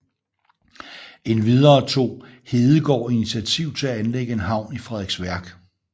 Endvidere tog Heegaard initiativ til anlægge en havn i Frederiksværk